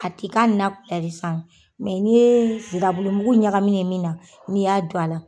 Ka ti ka na bila ye sisan ni ye sira bulu mugu ɲagamine ye min na, n'i y'a don a la.